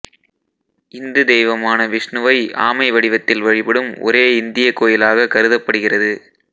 இந்து தெய்வமான விஷ்ணுவை ஆமை வடிவத்தில் வழிபடும் ஒரே இந்திய கோயிலாக கருதப்படுகிறது